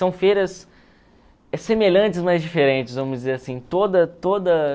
São feiras semelhantes, mas diferentes, vamos dizer assim. Toda toda